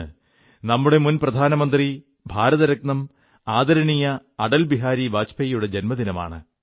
ഇന്ന് നമ്മുടെ മുൻ പ്രധാനമന്ത്രി ഭാരതരത്നം ആദരണീയ അടൽ ബിഹാരി വാജ്പേയിയുടെയും ജന്മദിനമാണ്